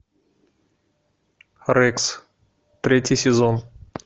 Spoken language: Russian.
рекс третий сезон